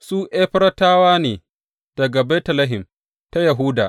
Su Efratawa ne daga Betlehem ta Yahuda.